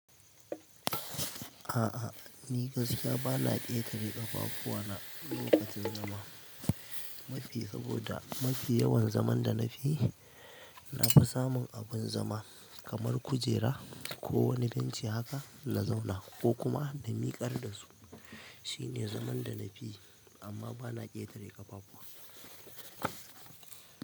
A'a, ni gaskiya bana ƙetare ƙafafu wa na lokacin zama. Saboda mafi yawan zaman da nakeyi nafi samun abun zama kaman kujera kowani benci haka naka zauna. Ko kuma na mikar da su. Shi ne zaman da na fi, amma bana ƙetare ƙafafu wa.